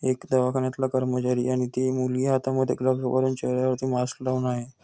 एक दवाखान्यातला कर्मचारी आणि ती मुलगी हातामध्ये ग्लब्ज घालून चेहऱ्यावरती मास्क घालून आहे.